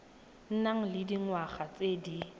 nang le dingwaga tse di